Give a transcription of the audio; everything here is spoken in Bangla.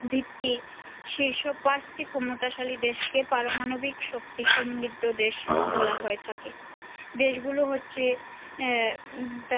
ভিত্তি সেইসব পাঁচ টি ক্ষমতাশালী দেশ কে পারমাণবিক শক্তিসমৃদ্ধ দেশ বলা হয়ে থাকে দেশ গুলো হচ্ছে আহ তার ম দেশগুলোর মধ্যে হচ্ছে যুক্তরাষ্ট্র